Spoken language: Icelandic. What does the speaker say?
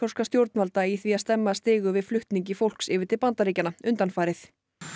stjórnvalda í því að stemma stigu við flutningi fólks yfir til Bandaríkjanna undanfarið